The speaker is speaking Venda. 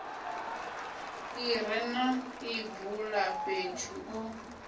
ḽi re na ḽibulafhethu ḽo